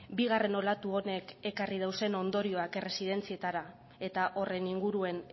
bigarren olatu honek ekarri dauzen ondorioak errezidentzietara eta horren inguruan